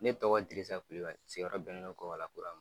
Ne tɔgɔ Dirisa Kulubali siyɔrɔ bɛnnen do Kɔbala Kura ma.